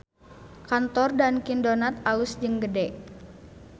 Kantor Dunkin Donuts alus jeung gede